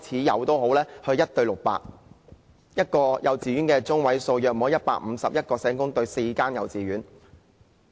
一間幼稚園的學生中位數大約是151人，即一位社工對4間幼稚園。